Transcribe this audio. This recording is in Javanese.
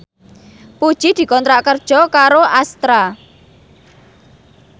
Puji dikontrak kerja karo Astra